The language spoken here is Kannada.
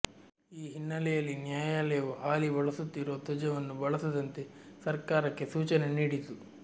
ಈ ಹಿನ್ನೆಲೆಯಲ್ಲಿ ನ್ಯಾಯಾಲಯವು ಹಾಲಿ ಬಳಸುತ್ತಿರುವ ಧ್ವಜವನ್ನು ಬಳಸದಂತೆ ಸರ್ಕಾರಕ್ಕೆ ಸೂಚನೆ ನೀಡಿತು